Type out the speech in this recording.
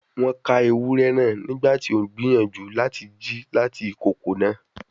Won ka ewurẹ naa nigbati o n gbiyanju lati ji lati ikoko naa